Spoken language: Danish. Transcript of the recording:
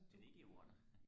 er det ikke under